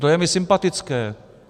To je mi sympatické.